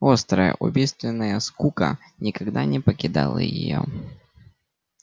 острая убийственная скука никогда не покидала её